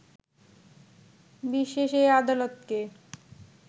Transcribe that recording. বিশেষ ওই আদালতকে